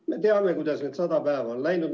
Me teame, kuidas need sada päeva on läinud.